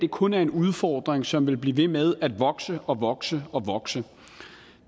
kun er en udfordring som vil blive ved med at vokse og vokse og vokse